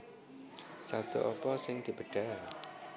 Sabda apa sing dibedhah